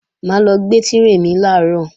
Mà á lọ gba tírè mi làárọ̀